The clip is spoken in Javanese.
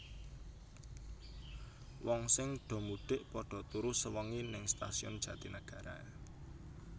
Wong sing do mudik podo turu sewengi ning Stasiun Jatinegara